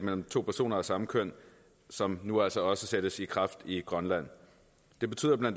mellem to personer af samme køn som nu altså også sættes i kraft i grønland det betyder bla